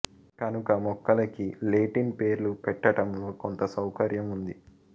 కనుక మొక్కలకి లేటిన్ పేర్లు పెట్టటంలో కొంత సౌకర్యం ఉంది